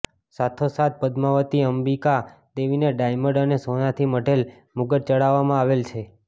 સાથો સાથ પદમાવતી અંબીકા દેવીને ડાયમંડ અને સોનાથી મઢેલ મુગટ ચડાવવામાં આવેલ છે